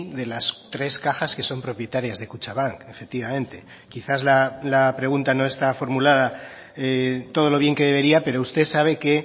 de las tres cajas que son propietarias de kutxabank efectivamente quizás la pregunta no está formulada todo lo bien que debería pero usted sabe que